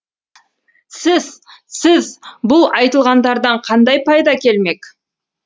сіз сіз бұл айтылғандардан қандай пайда келмек